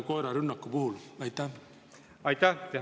Aitäh!